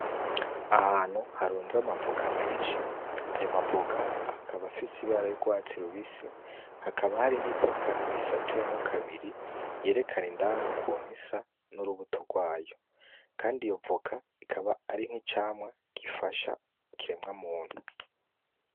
Ahantu harunze amavoka menshi. Ayo mavoka akaba afise ibara ry'urwatsi rubisi. Hakaba hari n'ivoka risatuyemwo kabiri yerekana indani ukuntu risa, n'urubuto rwayo. Kandi yo voka ikaba ari n'icamwa gifasha ikiremwa muntu.